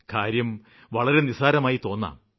കാര്യം വളരെ നിസ്സാരമായി തോന്നാം